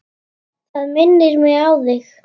Það minnir mig á þig.